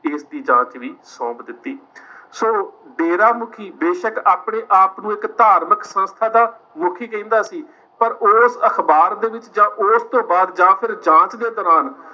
ਇਸਦੀ ਜਾਂਚ ਵੀ ਸੋਂਪ ਦਿੱਤੀ ਸੋ ਡੇਰਾ ਮੁੱਖੀ ਬੇਸ਼ਕ ਆਪਣੇ ਆਪ ਨੂੰ ਇੱਕ ਧਾਰਮਕ ਸੰਸਥਾ ਦਾ ਮੁੱਖੀ ਕਹਿੰਦਾ ਸੀ, ਪਰ ਉਸ ਅਖ਼ਬਾਰ ਦੇ ਵਿੱਚ ਜਾਂ ਉਸ ਤੋਂ ਬਾਅਦ ਜਾਂ ਫਿਰ ਜਾਂਚ ਦੇ ਦੌਰਾਨ